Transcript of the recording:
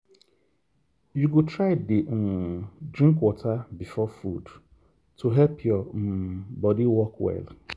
you go try dey um drink water before food to help your um body work well.